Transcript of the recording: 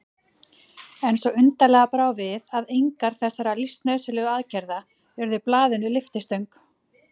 En svo undarlega brá við að engar þessara lífsnauðsynlegu aðgerða urðu blaðinu lyftistöng.